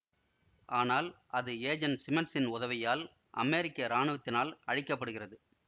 ஆனால் அது ஏஜெண்ட் சிமன்ஸின் உதவியால் அமெரிக்க இராணுவத்தினால் அழிக்க படுகிறது